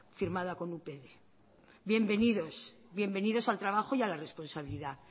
firmada con upyd bienvenidos al trabajo y a la responsabilidad